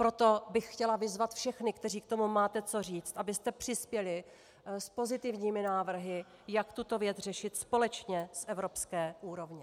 Proto bych chtěla vyzvat všechny, kteří k tomu máte co říct, abyste přispěli s pozitivními návrhy, jak tuto věc řešit společně z evropské úrovně.